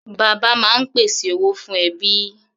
Bàbá máa ń pèsè owó fún ẹbí.